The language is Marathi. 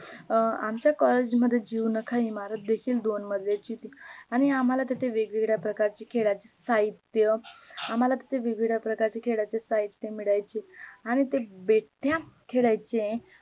अं आमच्या collage मध्ये जीवनाखइमारत देखील दोन मजलीची होती आणी आम्हाला तेथे वेगवेगळ्या प्रकारची खेळाचे साहित्य, आम्हाला तेथे वेगवेळ्या प्रकारचे खेळाचे साहित्य मिळायचे आणि ते बैठ्या खेळाचे